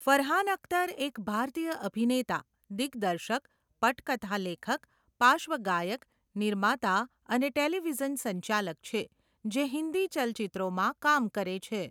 ફરહાન અખ્તર એક ભારતીય અભિનેતા, દિગ્દર્શક, પટકથા લેખક, પાર્શ્વગાયક, નિર્માતા અને ટેલિવિઝન સંચાલક છે, જે હિન્દી ચલચિત્રોમાં કામ કરે છે.